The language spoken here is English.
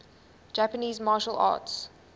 japanese martial arts